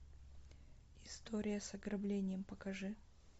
история с ограблением покажи